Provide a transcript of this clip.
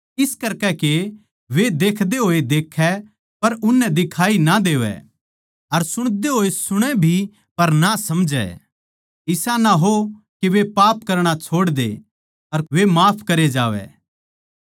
इस करकै के वे देखदे होए देखै पर उननै दिखाई ना देवै अर सुणदे होए सुणै भी पर ना समझै इसा ना हो के वे पाप करणा छोड़दे अर वे माफ करे जावै